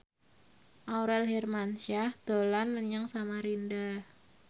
Aurel Hermansyah dolan menyang Samarinda